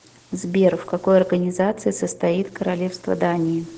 сбер в какой организации состоит королевство дании